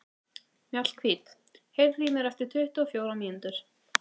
Mjallhvít, heyrðu í mér eftir tuttugu og fjórar mínútur.